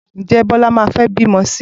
Ǹjẹ́ Bíọ́lá máa fẹ́ bímọ sí i?